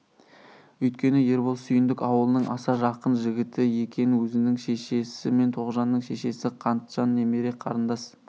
үйткені ербол сүйіндік аулының аса жақын жігіті екен өзінің шешесі мен тоғжанның шешесі қантжан немере қарындас